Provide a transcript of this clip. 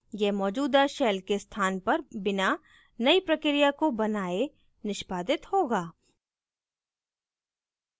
यह मौजूदा shell के स्थान पर बिना नई प्रक्रिया को बनाए निष्पादित होगा